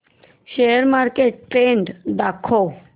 share market trend दाखव